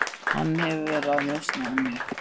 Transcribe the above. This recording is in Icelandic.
Hann hefur verið að njósna um mig.